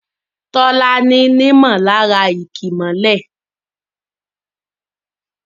Tola ní nímọ̀lára ìkìmọ́lẹ̀.